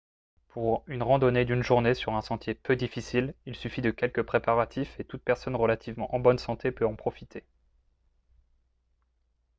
pour une randonnée d'une journée sur un sentier peu difficile il suffit de quelques préparatifs et toute personne relativement en bonne santé peut en profiter